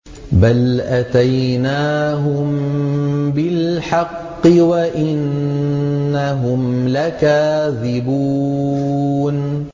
بَلْ أَتَيْنَاهُم بِالْحَقِّ وَإِنَّهُمْ لَكَاذِبُونَ